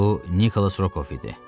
Bu Nikolas Rokov idi.